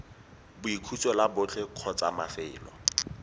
boikhutso la botlhe kgotsa mafelo